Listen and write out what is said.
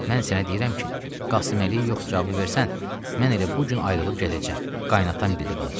Mən sənə deyirəm ki, Qasıməliyə yox cavabı versən, mən elə bu gün ayrılıb gedəcəm, qaynatan dildə qalacaq.